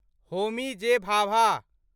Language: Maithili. होमी जे. भाभा